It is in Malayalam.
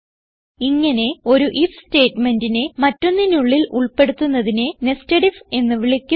ഇങ്ങനെ ഒരു ഐഎഫ് സ്റ്റേറ്റ്മെന്റിനെ മറ്റൊന്നിനുള്ളിൽ ഉൾപ്പെടുത്തുന്നതിനെ nested ഐഎഫ് എന്ന് വിളിക്കുന്നു